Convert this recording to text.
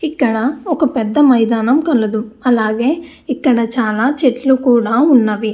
ఇక్కడా ఒక పెద్ద మైదానం కలదు. అలాగే ఇక్కడ చాలా చెట్లు కూడా ఉన్నవి.